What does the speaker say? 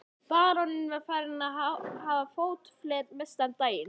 Baróninn var farinn að hafa fótaferð mestallan daginn.